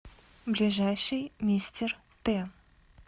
ближайший мистер т